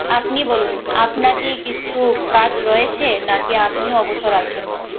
আপনি বলুন আপনার কি কিছু কাজ রয়েছে নাকি আপনিও অবসর আছেন?